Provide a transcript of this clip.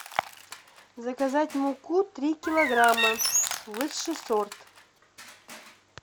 заказать муку три килограмма высший сорт